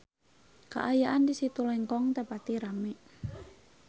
Kaayaan di Situ Lengkong teu pati rame